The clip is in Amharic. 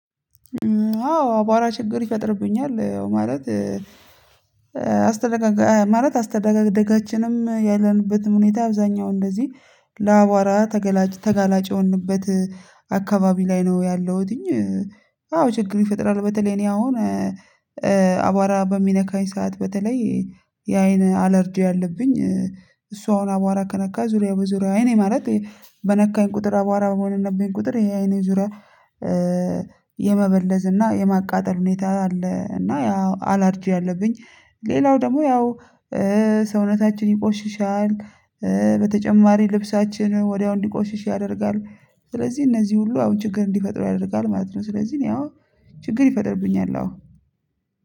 አዎ አቧራ ችግር ይፈጥርብኛል ማለት አስተዳጋጋ ማለት አስተደዳጋችነም ያለንበትም ሁኔታ አብዛኛው እንደዚህ ለአቧራ ተገላጭ ተጋላጭ የሆንበት አከባቢ ላይ ነው ያለሁትኝ። አዎ ችግር ይፈጥራል በተለይ እኔ አሁን። አቧራ በሚነካኝ ሰዓት በተለይ የአይን አለርጂ አለብኝ። እሱ አሁን አቧራ ከነካ ዙሪያ በዙሪያው አይኔ ማለት በነካኝ ቁጥር አቧራ በቦነነብኝ ቁጥር የአይኔ ዙሪያ የመበለዝ እና የማቃጠል ሁኔታ አለ እና ያው አላርጂ አለብኝ። ሌላው ደግሞ ያው ሰውነታችን ይቆሽሻል። በተጨማሪ ልብሳችን ወዲያው እንዲቆሽሽ ያደርጋል። ስለዚህ እነዚህ ሁሉ አሁን ችግር እንዲፈጥሩ ያደርጋል ማለት ነው። ስለዚህ እኔ አሁን ችግር ይፈጥርብኛል አዎ